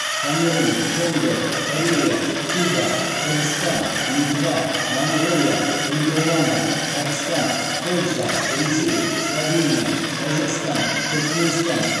камерун конго корея куба қырғызстан литва моңғолия нидерланды пәкістан польша ресей словения тәжікстан түрікменстан